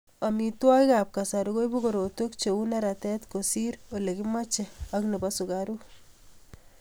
Amitwogikab kasari koibu korotwek cheu neratet kosir Ole kimochei ak nebo sukaruk